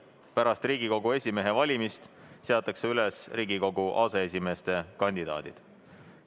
Pärast Riigikogu esimehe valimist seatakse üles Riigikogu aseesimeeste kandidaadid.